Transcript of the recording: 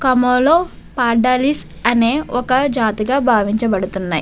Comma లొ పాడాలీస్ అనే ఒక జాతిగా బావించ బడుతున్నాయ్.